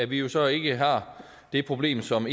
vi vi så ikke har det problem som